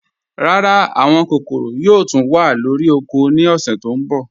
Rárá, àwọn kòkòró yòò túń wà lórí ọ̀kọ̀ ní ọ̀ṣẹ̀ tó nbọ̀